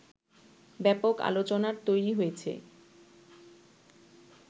ব্যাপক আলোচনার তৈরী হয়েছে